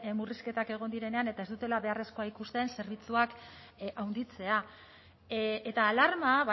murrizketak egon direnean eta ez dutela beharrezkoa ikusten zerbitzuak handitzea eta alarma